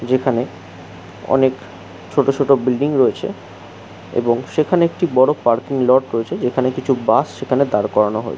যেখানে অনেক ছোট ছোট বিল্ডিং রয়েছে এবং সেখানে একটি বড় পার্কিং লট রয়েছে যেখানে কিছু বাস সেখানে দার করানো হো --